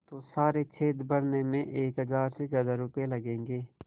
तो सारे छेद भरने में एक हज़ार से ज़्यादा रुपये लगेंगे